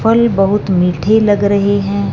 फल बहुत मीठी लग रही हैं।